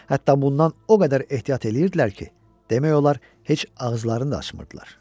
Hətta bundan o qədər ehtiyat eləyirdilər ki, demək olar heç ağızlarını da açmırdılar.